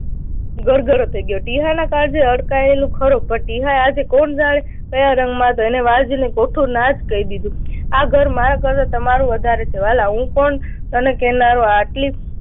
ગળગળો થઇ ગયો. ટીહાના કાજે અડકાયેલું ખરું. પણ ટીહા એ આજે કોણ જાણે કયા રંગમાં જ હતો. એણે વાલજીને ચોખ્ખું ના જ કહી દીધું. આ ઘર મારા કરતા તમારું વધારે છે વાલા. હું કોણ તને કહેનારો આટલી